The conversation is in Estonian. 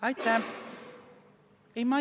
Aitäh!